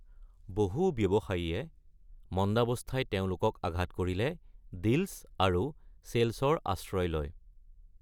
বহু ব্যৱসায়ীয়ে মন্দাৱস্থাই তেওঁলোকক আঘাত কৰিলে ডিল্চ আৰু চেল্চৰ আশ্ৰয় লয়।